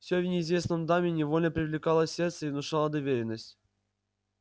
всё в неизвестной даме невольно привлекало сердце и внушало доверенность